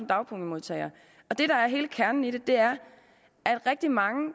dagpengemodtagere og det der er hele kernen i det er at rigtig mange